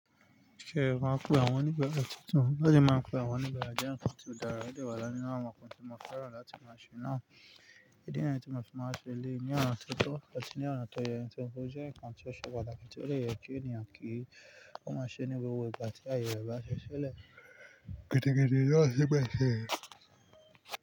Ṣé ẹ máa ń pe àwọn oníbaara túntùn? Ó ṣe é máa ń pe àwọn oníbaara túntùn dára, ó dẹ wà láárin awọn nǹkan tí mo fẹ́ràn láti máa ṣe náà. Idi niyen tí mo fẹ́ máa ṣe eléyii ní ọ̀nà tió tó ati ní ọ̀nà tó yẹ, nǹkan tí ó jẹ́ nǹkan tí ó ṣe pàtàkì tí ó dè yẹ kí ènìyàn kí ó máa ṣe ní gbogbo ìgbà tí ayẹ rẹ bá ṣí ṣílẹ̀. Gẹ́tìgẹ́tì yóò ṣí bẹ́ẹ̀ ṣe.